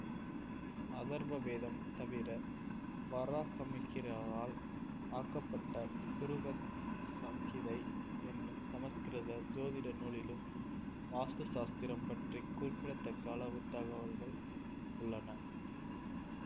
அதர்வ வேதம் தவிர வராஹமிஹிரரால் ஆக்கப்பட்ட பிருஹத் சம்ஹிதை என்னும் சமஸ்கிருத சோதிட நூலிலும் வாஸ்து சாஸ்திரம் பற்றி குறிப்பிடத்தக்க அளவு தகவல்கள் உள்ளன